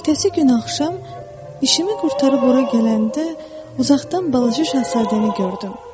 Ertəsi gün axşam işimi qurtarıb ora gələndə uzaqdan balaca şahzadəni gördüm.